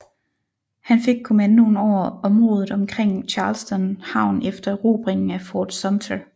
Han fik kommandoen over området omkring Charleston havn efter erobringen af Fort Sumter